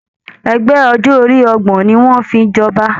Ẹgbẹ ọjọ orí ọgbọ̀n ní wọn o fí jọba.